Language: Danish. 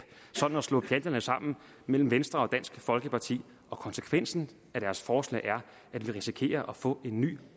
sådan at slå pjalterne sammen mellem venstre og dansk folkeparti og konsekvensen af deres forslag er at vi risikerer at få en ny